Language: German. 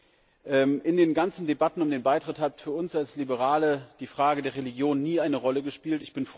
In all den Debatten um den Beitritt hat für uns als Liberale die Frage der Religion nie eine Rolle gespielt.